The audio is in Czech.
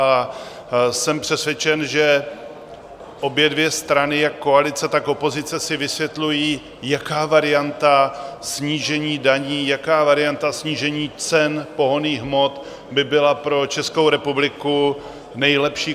A jsem přesvědčen, že obě dvě strany, jak koalice, tak opozice, si vysvětlují, jaká varianta snížení daní, jaká varianta snížení cen pohonných hmot by byla pro Českou republiku nejlepší.